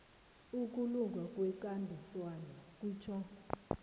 ukulunga kwekambiso kutjho